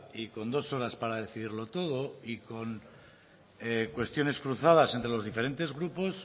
y con dos horas para decidirlo todo y con cuestiones cruzadas entre los diferentes grupos